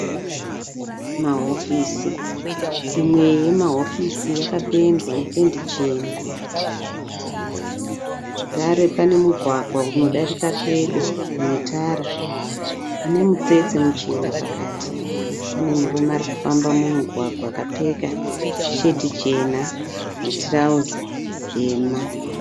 Mahofisi, imwe yemahofisi yakapendwa nependi chena zvakare pane mugwagwa unodarika pedo nemutara une mutsetse muchena pakati zvakare pane murume ari kufamba mumugwagwa akapfeka sheti chena netirauzi dema.